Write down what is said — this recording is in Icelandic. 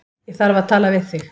Ég þarf að tala við þig